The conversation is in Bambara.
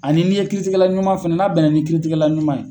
Ani n'i ye kitiligɛla ɲuman fɛnɛ, n'a bɛnna ni kiiritigɛla ɲuman ye